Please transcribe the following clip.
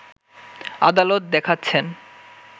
আদালত দেখাচ্ছেন